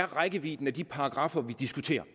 rækkevidden af de paragraffer vi diskuterer